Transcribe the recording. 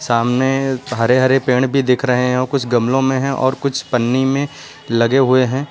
सामने हरे हरे पेड़ भी दिख रहे हैं कुछ गमलों में है और कुछ पन्नी में लगे हुए हैं।